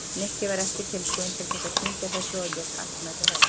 Nikki var ekki tilbúinn til þess að kyngja þessu og lét hart mæta hörðu.